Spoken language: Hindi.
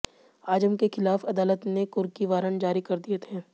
आजम के खिलाफ अदालत ने कुर्की वारंट जारी कर दिए थे